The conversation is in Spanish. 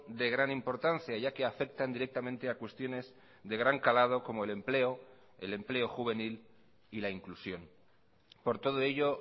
de gran importancia ya que afectan directamente a cuestiones de gran calado como el empleo el empleo juvenil y la inclusión por todo ello